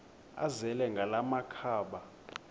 azele ngala makhaba